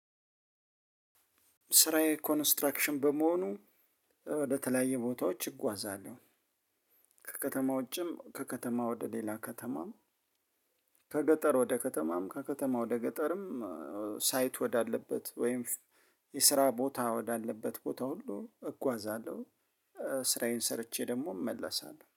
ስራዬ ኮንስትራክሽን በመሆኑ ወደተለያየ ቦታዎች እጓዛለሁ። ከከተማው ውጭም ከከተማ ወደ ሌላ ከተማም ከገጠር ወደ ከተማም ከከተማ ወደ ገጠርም። ሳይት ወዳለበት ወይም የስራ ቦታ ወዳለበት ሁሉ እጓዛለሁ። ስራዬን ሰርቼ ደግሞ እመለሳለሁ